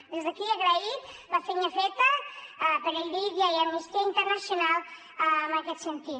des d’aquí agrair la feina feta per irídia i amnistia internacional en aquest sentit